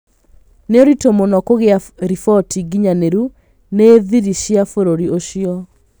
Nĩ ũritũ mũno kũgĩa riboti nginyaniru nĩ thiri cia bũrũri ũcio